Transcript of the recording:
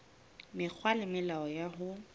mekgwa le melao ya ho